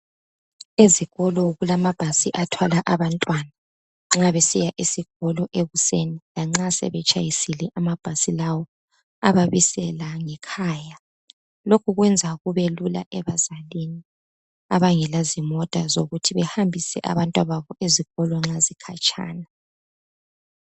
Ezikolo kulama bhasi athwala abantwana ekseni nxa besiya esikolo lanxa sebesetshayisile amabhasi lawa ayababisela ngekhaya lokhu kwenza lula kubazali abangela zimota, zokuhambisa abantwana babo ezikolo nxa kukhatshana.